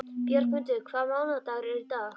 Bjargmundur, hvaða mánaðardagur er í dag?